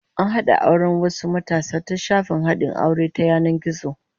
An hada auren wasu matasa ta shafin hadin aure ta yanan gizo